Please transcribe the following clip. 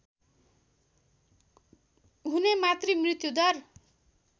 हुने मातृ मृत्युदर